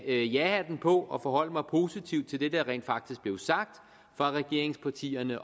ja hatten på og forholde mig positivt til det der rent faktisk blev sagt fra regeringspartiernes